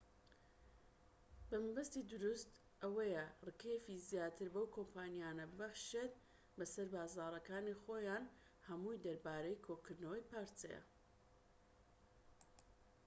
مەبەستی دروست ئەوەیە ڕکێفی زیاتر بەو کۆمپانیایانە ببەخشیت بەسەر بازاڕەکانی خۆیان هەمووی دەربارەی کۆکردنەوەی پارەیە